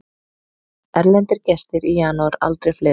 Erlendir gestir í janúar aldrei fleiri